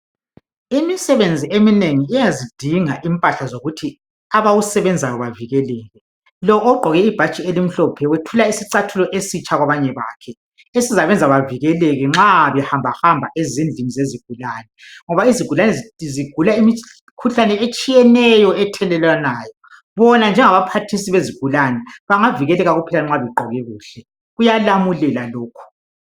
Imisebenzi eminengi iyazidinga impahla zokuthi abawusebenzayo bavikele. Lo ogqoke ibhatshi elimhlophe wethula isicathulo esitsha kwabanye bakhe , esizabenza bavikeleke nxa behambahamba ezindlini zezigulane, ngoba izigulane zigula imikhuhlane etshiyeneyo ethelelwanayo. Bona njengabaphathisi bezigulane bangavikeleka kuphela nxa begqoke kuhle. Kuyalamulela lokhu.